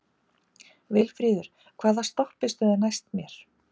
Vilfríður, hvaða stoppistöð er næst mér?